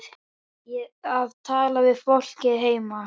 Að tala við fólkið heima.